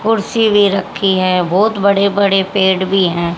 कुर्सी भी रखी है बहुत बड़े बड़े पेड़ भी हैं।